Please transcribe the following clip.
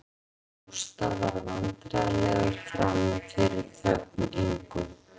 Gústaf varð vandræðalegur frammi fyrir þögn Ingu